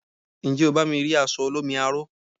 Njé o bá mi ri aṣọ olómi aro?